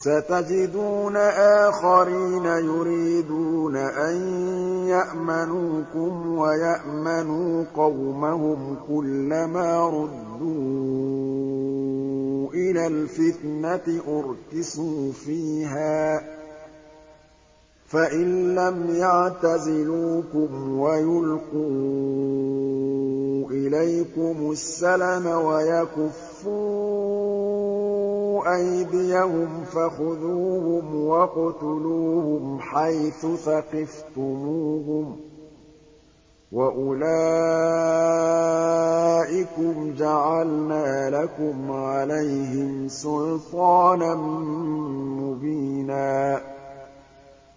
سَتَجِدُونَ آخَرِينَ يُرِيدُونَ أَن يَأْمَنُوكُمْ وَيَأْمَنُوا قَوْمَهُمْ كُلَّ مَا رُدُّوا إِلَى الْفِتْنَةِ أُرْكِسُوا فِيهَا ۚ فَإِن لَّمْ يَعْتَزِلُوكُمْ وَيُلْقُوا إِلَيْكُمُ السَّلَمَ وَيَكُفُّوا أَيْدِيَهُمْ فَخُذُوهُمْ وَاقْتُلُوهُمْ حَيْثُ ثَقِفْتُمُوهُمْ ۚ وَأُولَٰئِكُمْ جَعَلْنَا لَكُمْ عَلَيْهِمْ سُلْطَانًا مُّبِينًا